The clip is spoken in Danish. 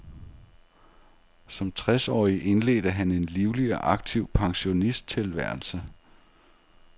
Som tres årig indledte han en livlig og aktiv pensionisttilværelse.